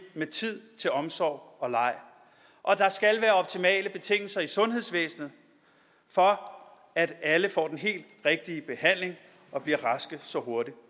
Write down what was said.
med tid til omsorg og leg og der skal være optimale betingelser i sundhedsvæsenet for at alle får den helt rigtige behandling og bliver raske så hurtigt